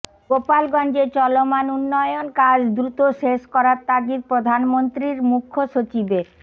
গোপালগঞ্জে চলমান উন্নয়ন কাজ দ্রুত শেষ করার তাগিদ প্রধানমন্ত্রীর মুখ্য সচিবের